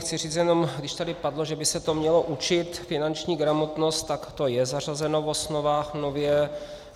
Chci říct jenom, když tady padlo, že by se to mělo učit, finanční gramotnost, tak to je zařazeno v osnovách nově.